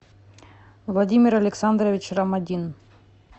владимир александрович ромадин